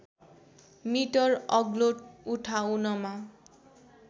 metre अग्लो उठाउनमा